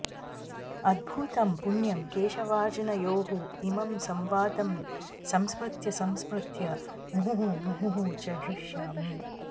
अद्भुतं पुण्यं केशवार्जुनयोः इमं संवादं संस्मृत्य संस्मृत्य मुहुः मुहुः च हृष्यामि